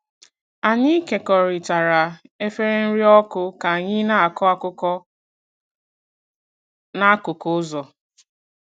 Anyị kekọrịtara efere nri ọkụ ka anyị na-akọ akụkọ n'akụkụ ụzọ.